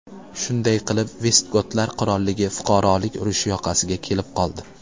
Shunday qilib Vestgotlar qirolligi fuqarolik urushi yoqasiga kelib qoldi.